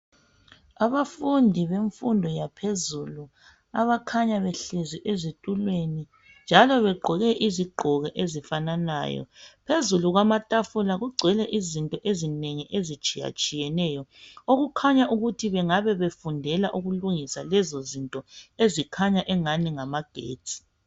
Abafundi bemfundo yaphezulu abakhanya behlezi ezitulweni njalo begqoke izigqoko ezifananayo phezulu kwamatafula kugcwele izinto ezinengi ezitshiyatshiyeneyo okukhanya ukuthi bengabe befundela ukulungisa lezi zinto ezikhanya engani ngamagetsi.